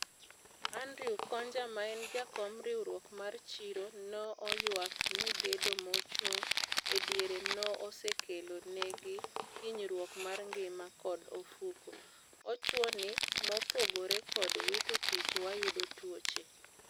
Andrew Konja maen jakom riwruok mar chiro no oywak ni gedo mochung e diere no osekelo negi hinyruok mar ngima kod ofuko. Owchoni "mopogore kod wito tich wayudo tuoche."